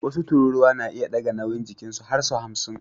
Wasu tururuwa na iya ɗaga nauyin jikinsu har sau hamsin